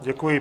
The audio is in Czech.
Děkuji.